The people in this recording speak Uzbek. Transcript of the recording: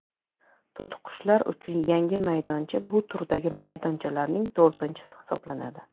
To‘tiqushlar uchun yangi maydoncha bu turdagi maydonchalarning to‘rtinchisi hisoblanadi.